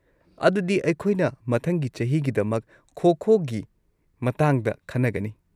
ꯑꯗꯨꯗꯤ ꯑꯩꯈꯣꯏꯅ ꯃꯊꯪꯒꯤ ꯆꯍꯤꯒꯤꯗꯃꯛ ꯈꯣ-ꯈꯣꯒꯤ ꯃꯇꯥꯡꯗ ꯈꯟꯅꯒꯅꯤ꯫